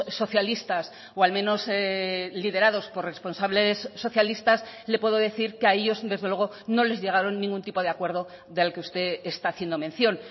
socialistas o al menos liderados por responsables socialistas le puedo decir que a ellos desde luego no les llegaron ningún tipo de acuerdo del que usted está haciendo mención